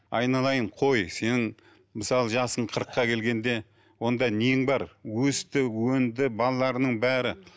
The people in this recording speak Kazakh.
айналайын қой сенің мысалы жасың қырыққа келгенде онда нең бар өсті өнді балаларының бәрі